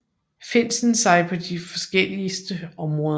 Finsen sig på de forskelligste områder